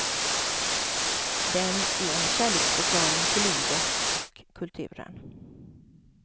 Den är en kärleksförklaring till livet och kulturen.